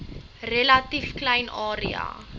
relatief klein area